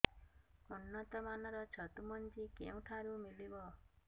ଉନ୍ନତ ମାନର ଛତୁ ମଞ୍ଜି କେଉଁ ଠାରୁ ମିଳିବ